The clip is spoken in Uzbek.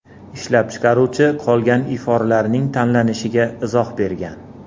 Ishlab chiqaruvchi qolgan iforlarning tanlanishiga izoh bergan.